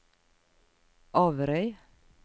Averøy